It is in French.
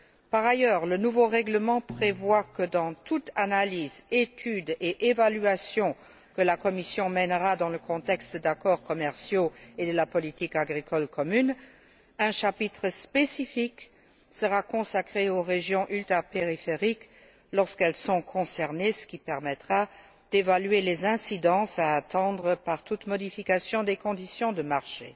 Par ailleurs, le nouveau règlement prévoit que, dans toute analyse, étude et évaluation que la Commission mènera dans le contexte d'accords commerciaux et de la politique agricole commune, un chapitre spécifique sera consacré aux régions ultrapériphériques lorsqu'elles sont concernées, ce qui permettra d'évaluer les incidences à attendre de toute modification des conditions du marché.